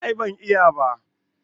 A'a ban iya ba